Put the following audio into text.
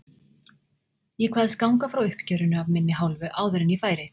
Ég kvaðst ganga frá uppgjörinu af minni hálfu áður en ég færi.